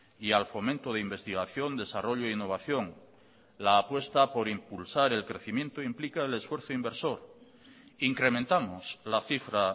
y al fomento de investigación desarrollo e innovación la apuesta por impulsar el crecimiento implica el esfuerzo inversor incrementamos la cifra